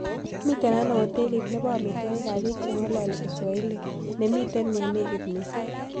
Miten ano hotelit ne po amiitwogikap biik cheng'ololi kiswahili neemiten yeenegit miising'